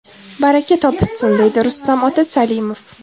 Baraka topishsin!”, deydi Rustam ota Salimov.